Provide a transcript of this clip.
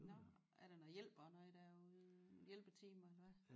Nåh er der noget hjælp og noget derude hjælpeteam eller hvad